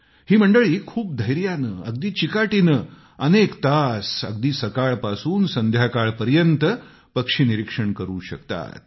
ही मंडळी खूप धैर्याने अगदी चिकाटीनं अनेक तास अगदी सकाळपासून संध्याकाळपर्यंत पक्षी निरीक्षण करू शकतात